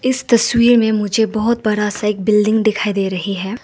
इस तस्वीर में मुझे बहुत बड़ा सा एक बिल्डिंग दिखाई दे रही है।